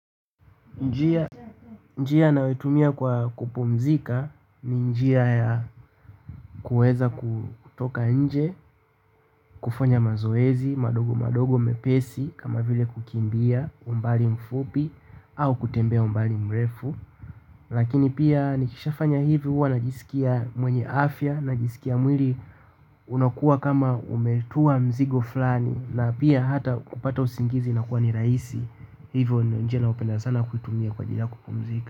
Njia nayotumia kwa kupumzika ni njia ya kuweza kutoka nje, kufanya mazoezi, madogo madogo mepesi kama vile kukimbia umbali mfupi au kutembea umbali mrefu lakini pia nikishafanya hivi huwa najisikia mwenye afya najisikia mwili unakuwa kama umetua mzigo flani na pia hata kupata usingizi inakuwa ni rahisi. Hivyo njia ninayopenda sana kuitumia kwa ajili ya kupumzika.